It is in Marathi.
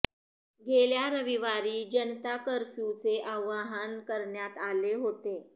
गेल्या रविवारी जनता कर्फ्यूचे आवाहन करण्यात आले होते